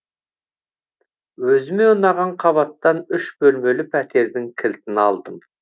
өзіме ұнаған қабаттан үш бөлмелі пәтердің кілтін алдым